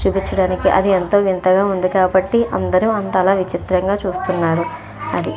చూపిచడానికి అది ఎంతో వింతగా ఉంది కాబట్టి అందరూ అంతలా విచిత్రంగా చూస్తున్నారు అది.